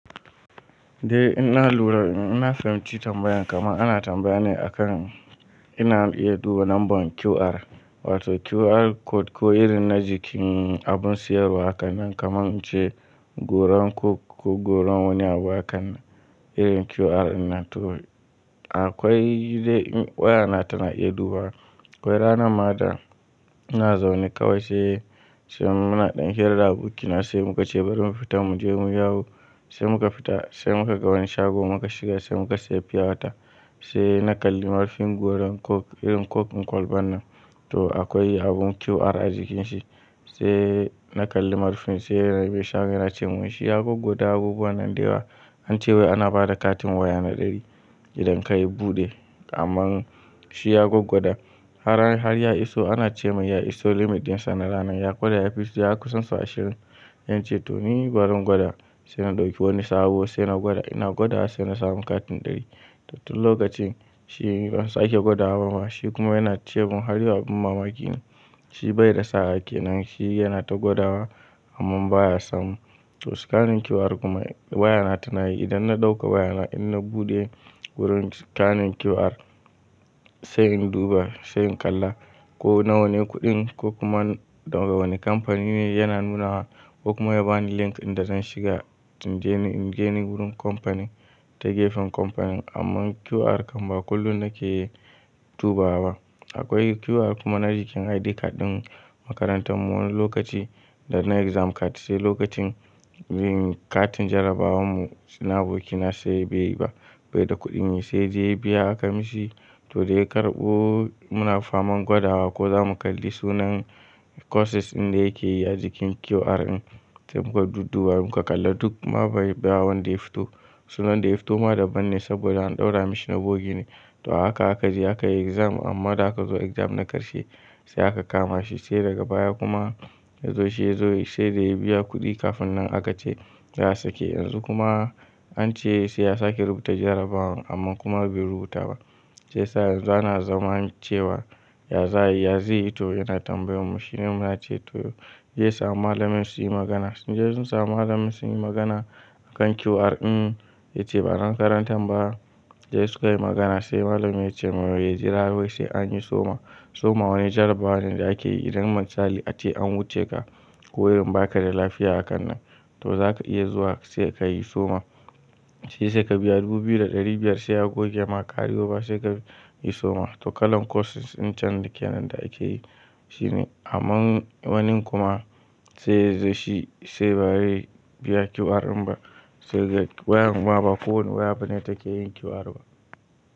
Eh ina lura, in na fahimci tambayan kaman ana tambaya ne akan ina iya duba lambar QR wato QR code ko irin na jikin abun sayarwa hakannan kaman in ce. Goran coke ko goran wani abu hakan nan irin QR innan to akwai waya na tana iya duba. Akwai ranan ma da ina zaune kawai sai, sai muna ɗan hira da abokina sai muka ce bari mu fita mu je mu yawo. Sai muka fita sai muka ga wani shago muka shiga sai muka sayi fiyawata, sai na kalli marfin goran coke irin coke ɗin kolban nan to akwai abun QR a jikinsa. Sai na kalli marfin, sai mai shagon yana cemun wai shi ya gwaggwada abubuwan nan da yawa ance wai ana ba da katin waya na ɗari. Idan kai buɗe, amma shi ya gwaggwada, har ya iso ana ce mai ya iso limit ɗinsa na ranan, ya gwada ya fi so, ya kusan sau ashirin. Sai na ce to ni barin gwada sai na ɗauki wani sabo sai na gwada ina gwadawa sai na samu katin ɗari. To tun lokacin shi ban sake gwadawa ba ma, shi kuma yana ce mun har yaua abin mamaki ne shi bai da sa'a kenan shi yana ta gwad wa. Amman baya samu. To scanin QR kuma waya na tana yi idan na ɗauka waya na in na buɗe wurin scanin QR sai in duba sai in kalla ko nawa ne kuɗin ko kuma da wane kamfani ne yana nunawa ko kuma ya bani link ɗin da zan shiga in je ni, in je ni wurin kamfanin ta gefen kamfanin amma QR kan ba kullum nake dubawa. Akwai QR kuma na jikin ID card ɗin makarantar mu wani lokaci da na exam card sai lokacin yin katin jarrabawar mu, so na abokina sai bai yi ba bai da kuɗi nyj sai dai ya biya aka mishi to dai ya karɓo muna faman gwada wa ko zamu kalli sunan. Courses ɗin da yake yi a jikin QR ɗin sai muka sunan da ya fito ma daban ne saboda an ɗaura mishi na bogi ne, to a haka aka je aka yi exam amma da aka zo exam na ƙarshe. Sai aka kama shi sai daga baya kuma ya zo shi yazo sai dai ya biya kuɗi kafin nan aka ce za su ke yanzu kuma. An ce sai ya sake rubuta jarrabawan amma kuma bai rubuta ba. Sai sa'a yanzu ana zamanancewa. Yya za ai, ya zai yi to yana tambayan mu shine muna ce to zai samu malamin su yi magana. Sun je sun samu malamin sun yi magana. A kan QR ɗin ya ce ba na makarantan ba sai sukai magana sai malamin ya ce mai ya jira wai sai anyi soma. Soma wani jarabawa ne da ake yi idan misali ace an wuce ka ko irin baka da lafiya hakan nan, to zaka iya zuwa sai ka yi soma shi sai ka biya dubu biyu da ɗari biyar sai a goge ma kari oba sai ka yi soma. To kalan courses in can dake nan da ake yi shine amma wani kuma sai ya zo shi sai bare biya QR in ba sai wayar mu ma ba kowanne waya bane take yin QR ba.